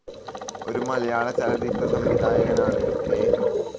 ഒരു മലയാളചലച്ചിത്ര സംവിധായകൻ ആണ്‌ കെ.